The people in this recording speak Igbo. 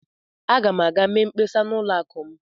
Aga m aga mee mkpesa na ụlọ akụ m.